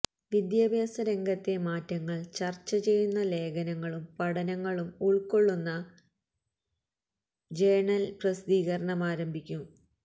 വിദ്യാഭ്യാസരംഗത്തെ മാറ്റങ്ങള് ചര്ച ചെയ്യുന്ന ലേഖനങ്ങളും പഠനങ്ങളും ഉള്ക്കൊള്ളുന്ന ജേര്ണല് പ്രസിദ്ധീകരണമാരംഭിക്കും